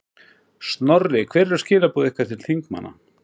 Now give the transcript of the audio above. Snorri, hver eru skilaboð ykkar til þingmanna?